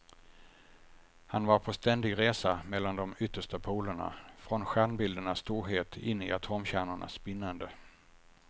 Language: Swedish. Han var på ständig resa mellan de yttersta polerna, från stjärnbildernas storhet in i atomkärnornas spinnande.